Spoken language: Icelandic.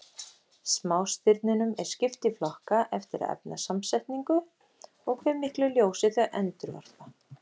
Smástirnunum er skipt í flokka eftir efnasamsetningu og hve miklu ljósi þau endurvarpa.